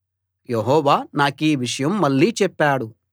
యెహోవా నాకీ విషయం మళ్ళీ చెప్పాడు